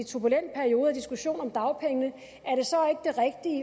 turbulent periode og diskussion om dagpengene